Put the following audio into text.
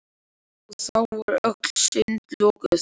Og þá voru öll sund lokuð!